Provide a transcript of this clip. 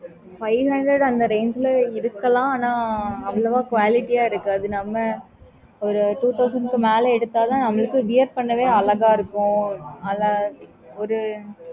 five hundreds அந்த range லா எடுக்கலாம் ஆனா அவ்வளவு quality இருக்காது நம்ப ஒரு two thousand மேல எடுத்ததன் நம்பளுக்கு wear பண்ணவே அழகாயிருக்கும் அதுல ஒரு